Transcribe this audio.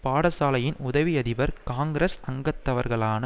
பாடசாலையின் உதவி அதிபர் காங்கிரஸ் அங்கத்தவர்களான